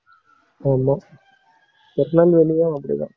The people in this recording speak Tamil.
ஆமா திருநெல்வேலியும் அப்படித்தான்.